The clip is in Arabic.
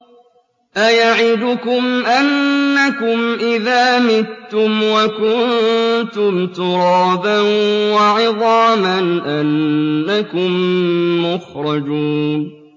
أَيَعِدُكُمْ أَنَّكُمْ إِذَا مِتُّمْ وَكُنتُمْ تُرَابًا وَعِظَامًا أَنَّكُم مُّخْرَجُونَ